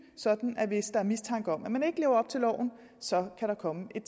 sådan at hvis der er mistanke om at man ikke lever op til loven så kan der komme et